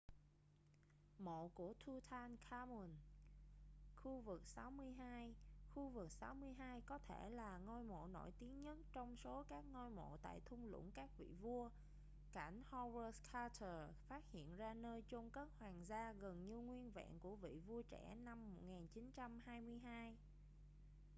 mộ của tutankhamun kv62. kv62 có thể là ngôi mộ nổi tiếng nhất trong số các ngôi mộ tại thung lũng các vị vua cảnh howard carter phát hiện ra nơi chôn cất hoàng gia gần như nguyên vẹn của vị vua trẻ năm 1922